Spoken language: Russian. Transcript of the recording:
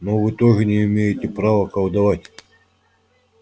но вы тоже не имеете права колдовать